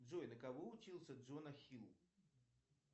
джой на кого учился джона хилл